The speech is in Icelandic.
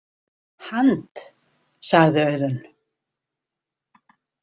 Hand-, sagði Auðunn.